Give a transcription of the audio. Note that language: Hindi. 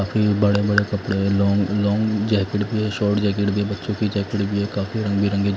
काफी बड़े बड़े कपड़े लॉन्ग लॉन्ग जैकेट भी है शॉर्ट जैकेट भी है बच्चों की जैकेट भी है काफी रंग बिरंगी--